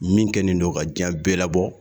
Min kɛlen don ka diɲɛ bɛɛ labɔ.